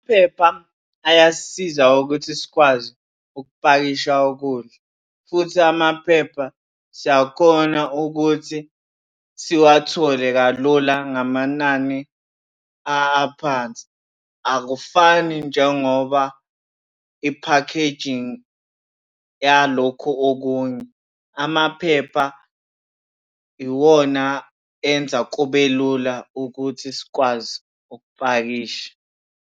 Phepha ayasisiza ukuthi sikwazi ukupakisha ukudla futhi amaphepha siyakhona ukuthi siwathole kalula ngamanani aphansi. Akufani njengoba iphakhejingi yalokhu okunye. Amaphepha iwona enza kube lula ukuthi sikwazi ukupakisha.